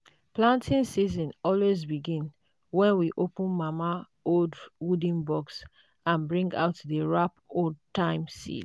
planting season always begin when we open mama old wooden box and bring out the wrap old-time seeds.